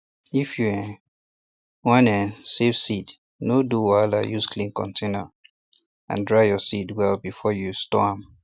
if you um wan um save um seeds no do wahala use clean container and dry your seeds well before you store am